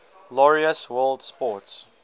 laureus world sports